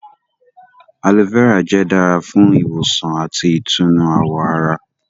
Aloe vera jẹ́ dára fún ìwòsàn àti ìtùnú àwọ̀ ará